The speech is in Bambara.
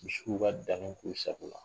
Misiw y'u ka danniw k'u sako la.